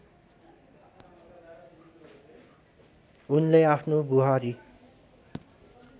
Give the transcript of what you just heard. उनले आफ्नो बुहारी